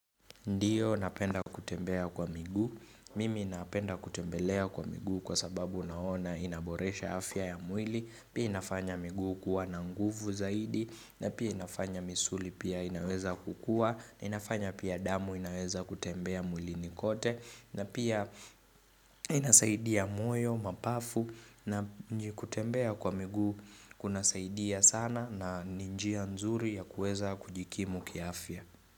Ndiyo napenda kutembea kwa miguu, mimi napenda kutembelea kwa miguu kwa sababu naona inaboresha afya ya mwili, pia inafanya miguu kuwa na nguvu zaidi, na pia inafanya misuli pia inaweza kukua, na inafanya pia damu inaweza kutembea mwilini kote, na pia inasaidia moyo, mapafu, na kutembea kwa miguu kunasaidia sana na ni njia nzuri ya kueza kujikimu kiafya.